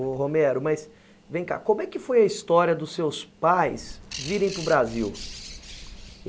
Ô Romero, mas vem cá, como é que foi a história dos seus pais virem para o Brasil?